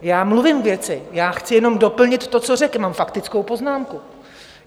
Já mluvím k věci, chci jenom doplnit to, co řekl, mám faktickou poznámku.